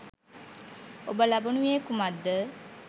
ඔබ ලබනුයේ කුමක්ද?